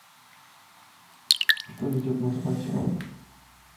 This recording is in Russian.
что идет на спасе